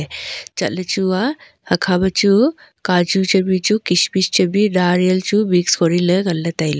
chat ley chu a hakha ma chu kaju chamli chu kish mish chamli nareal chu mix kori ley ngan ley tai ley.